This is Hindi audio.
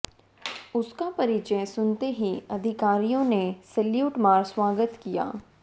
उसका परिचय सुनते ही अधिकारियों ने सैल्यूट मार स्वागत किया